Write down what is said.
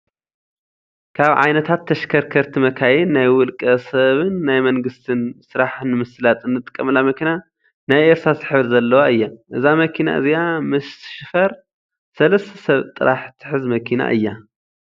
ካብ ዓይነታት ተሽከርከርቲ መካይ ናይ ናይ ውልቀ-ሰብን ናይ መንግስት ስራሕትን ምስላጥን እንጥቀመላ መኪና ናይ እርሰሳስ ሕብሪ ዘለዋ እያ። እዛ መኪና እዚኣ ምስ ሽፈር 3ተ ሰብ ጥራሕ ትሕዝ መኪና እያ።